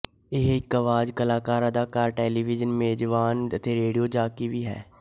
ਇਹ ਇੱਕ ਅਵਾਜ਼ ਕਲਾਕਾਰ ਅਦਾਕਾਰਾ ਟੈਲੀਵਿਜ਼ਨ ਮੇਜ਼ਬਾਨ ਅਤੇ ਰੇਡੀਓ ਜਾਕੀ ਵੀ ਹੈ